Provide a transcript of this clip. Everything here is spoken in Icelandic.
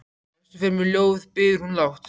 Lestu fyrir mig ljóð, biður hún lágt.